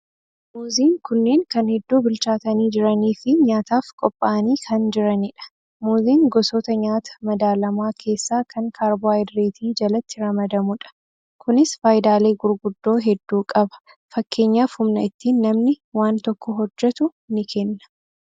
Muuziin kunneen kan hedduu bilchaatanii jiraniifi nyaataaf qophaa'anii kan jiranidha. Muuziin gosoota nyaata madaalamaa keessaa kan karbohaayidireetii jalatti ramadamudha. Kunis faayidaalee gurguddoo hedduu qaba. Fakkeenyaaf humna ittiin namni waan tokko hojjetu ni kenna.